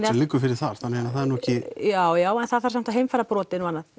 liggur fyrir þar þannig að það er nú ekki já já en það þarf nú samt að heimfæra brotin og annað